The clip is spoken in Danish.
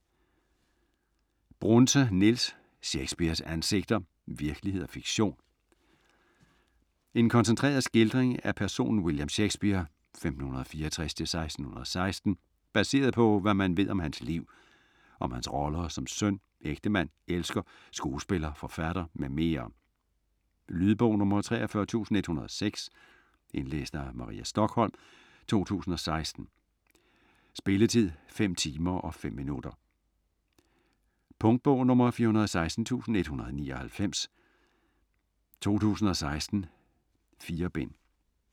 Brunse, Niels: Shakespeares ansigter: virkelighed og fiktion En koncentreret skildring af personen William Shakespeare (1564-1616) baseret på, hvad man ved om hans liv. Om hans roller som søn, ægtemand, elsker, skuespiller, forfatter mm. Lydbog 43106 Indlæst af Maria Stokholm, 2016. Spilletid: 5 timer, 5 minutter. Punktbog 416199 2016. 4 bind.